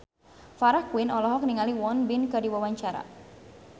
Farah Quinn olohok ningali Won Bin keur diwawancara